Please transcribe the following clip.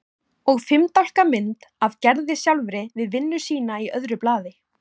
Og fimm dálka mynd af Gerði sjálfri við vinnu sína í öðru blaði.